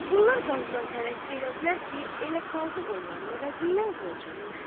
Bunlar qazıdan təvəqqə elədilər ki, elə qazı onların əvəzindən qol çəksin.